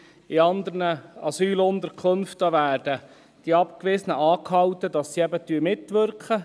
In anderen Asylunterkünften werden die Abgewiesenen angehalten, in den Anlagen mitzuwirken.